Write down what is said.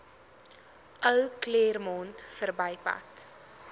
ou claremont verbypad